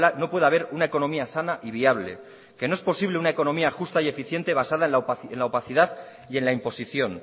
no puede haber una economía sana y viable que no es posible una economía justa y eficiente basada en la opacidad y en la imposición